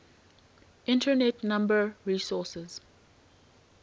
internet number resources